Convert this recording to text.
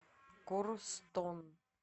корстон